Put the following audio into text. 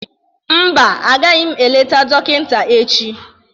Mba, agaghị m eleta dọkịta echi.